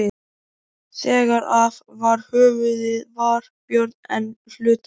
Þegar af var höfuðið var Björn enn hlutaður.